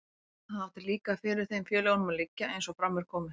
Það átti líka fyrir þeim félögunum að liggja, eins og fram er komið.